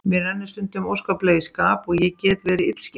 Mér rennur stundum óskaplega í skap og ég get verið illskeytt.